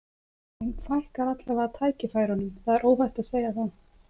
Þeim fækkar allavega tækifærunum, það er óhætt að segja það.